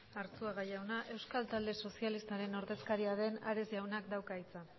arzuaga jauna euskal talde sozialistaren ordezkaria den ares jaunak dauka hitza